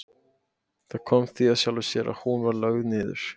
Það kom því af sjálfu sér að hún var lögð niður.